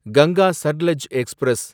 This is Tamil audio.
கங்கா சட்லெஜ் எக்ஸ்பிரஸ்